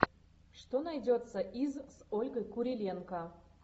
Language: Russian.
что найдется из с ольгой куриленко